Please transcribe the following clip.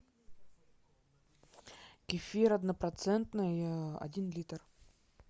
кефир однопроцентный один литр